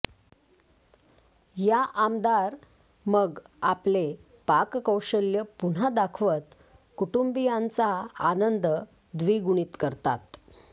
या आमदार मग आपले पाककौशल्य पुन्हा दाखवत कुटुंबियांचा आनंद द्विगुणीत करतात